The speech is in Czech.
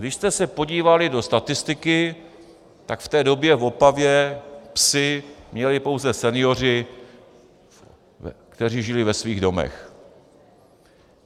Když jste se podívali do statistiky, tak v té době v Opavě psy měli pouze senioři, kteří žili ve svých domech.